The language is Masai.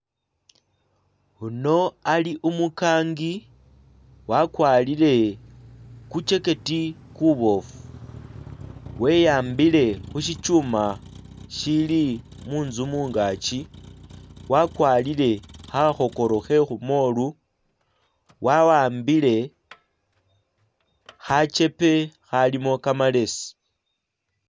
Uno ali umukangi wakwarire ku jacket ku boofu weyambile khusi chuma ishili muntsu mungaki, wakwarire khakhokoro khe khumolu wawambile khachepe akhalimo kamalesi